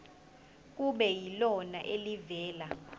kube yilona elivela